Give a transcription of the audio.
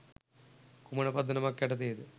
කුමන පදනමක් යටතේද?